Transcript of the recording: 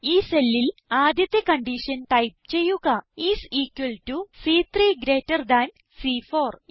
ഈ cellൽ ആദ്യത്തെ കൺഡീഷൻ ടൈപ്പ് ചെയ്യുക ഐഎസ് ഇക്വൽ ടോ സി3 ഗ്രീറ്റർ താൻ സി4